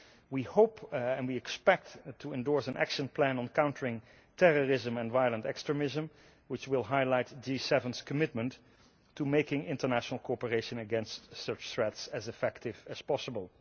We hope and expect to endorse an action plan on countering terrorism and violent extremism which will highlight the G7's commitment to making international cooperation against such threats as effective as possible.